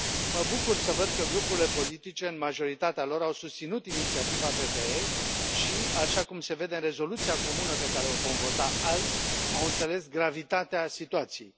Mă bucur să văd că grupurile politice, în majoritatea lor, au susținut inițiativa PPE și, așa cum se vede în rezoluția comună pe care o vom vota azi, au înțeles gravitatea situației.